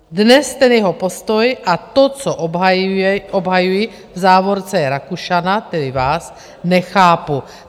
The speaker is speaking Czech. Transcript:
Dnes ten jeho postoj a to, co obhajuje - v závorce je Rakušana, tedy vás - nechápu.